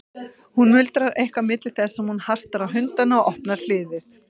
Hún muldrar eitthvað milli þess sem hún hastar á hundana og opnar hliðið.